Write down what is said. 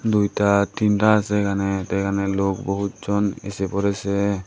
দুইটা তিনটা আছে এখানে এখানে লোক বহুত জন এসে পড়েছে।